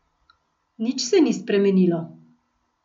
Nič se ni spremenilo.